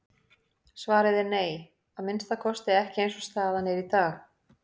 Svarið er nei, að minnsta kosti ekki eins og staðan er í dag.